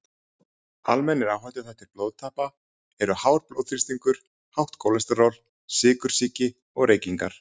Almennir áhættuþættir blóðtappa eru hár blóðþrýstingur, hátt kólesteról, sykursýki og reykingar.